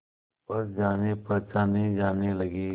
पर जानेपहचाने जाने लगे